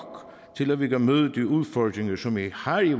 til at vi kan møde de udfordringer som vi har i